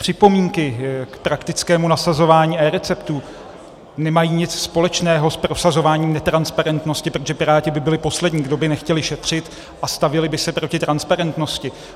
Připomínky k praktickému nasazování eReceptů nemají nic společného s prosazováním netransparentnosti, protože Piráti by byli poslední, kdo by nechtěli šetřit a stavěli by se proti transparentnosti.